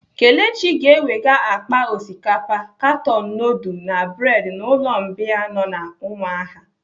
Kelechi ga-eweta akpa osikapa, katon nudul na bredi n'ụlọ mbìa nọ n'umuahia.